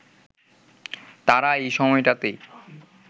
তারা এই সময়টাতেই